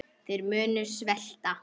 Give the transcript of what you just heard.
Þeir munu svelta.